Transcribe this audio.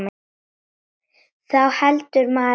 Þá heldur maður áfram.